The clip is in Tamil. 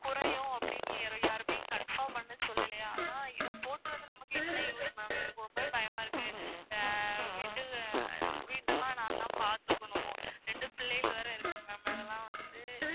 குறையும் அப்படின்னு confirm பண்ணி சொல்லலையா. ஆனா இத போட்டு வந்து நமக்கு என்ன use ma'am எனக்கு ஒரு மாதிரி பயமா இருக்கு. வீட்டு வீடெல்லாம் நான்தான் பாத்துக்கணும் இரண்டு பிள்ளைகள் வேற இருக்கு ma'am அதெல்லாம் வந்து